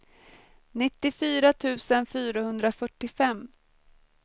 nittiofyra tusen fyrahundrafyrtiofem